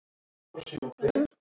en ekki alltaf